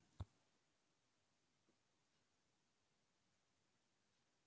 Ónefndur karlmaður: Og rökin fyrir því voru?